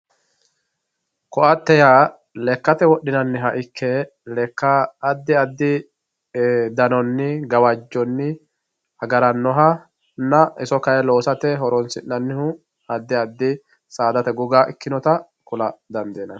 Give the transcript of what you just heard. koatte yaa lekkate wodhinanniha ikke lekke addi addi danonni gawajjonni agarannoha iso kayi loosate horonsi'nannihu addi addi saadate goga ikkinota kula dandiinanni.